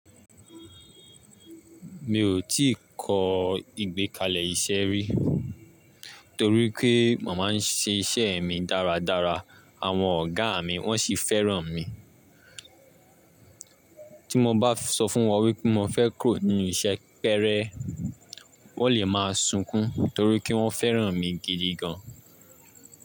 Mi ò tí ì kọ ìgbékalẹ̀ iṣẹ́ rí, torí pé màá ń ṣe iṣẹ́ mi dáradára, àwọn ọ̀gá mi wọ́n sì fẹ́ràn mi. Tí mo bá sọ fún wọn wípé mo fẹ́ kúrò ní iṣẹ́ péré, wón lè máa sunkún torí pé wọ́n fẹ́ràn mí gidi gan.